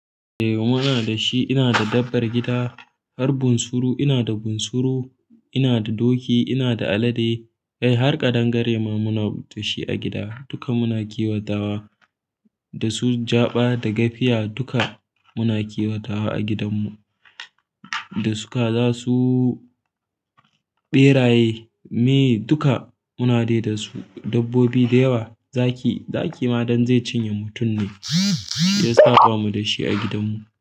Eh muna da shi, ina da dabbar gida har bunsuru ina da bunsuru, ina da doki, ina da alade. Kai har ƙadangare ma muna da shi a gida duka muna kiwatawa dasu jaba da gafiya duka muna kiwatawa a gidan mu, da su kaza su berayi maye duka muna de dasu dabbobi dayawa zaki, zaki ma don zai cinye mutum ne shiyasa bamu dashi a gidan mu.